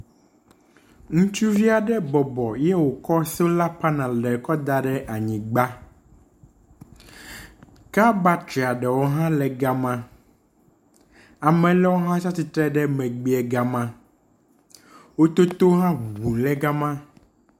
Ŋustuvi aɖe bɔbɔ eye wokɔ sola panel kɔ da ɖe anyigba, car battery aɖewo hã le ga me, ame aɖewo tsi atsitre hã le ga ma, wototo hã le ŋuŋum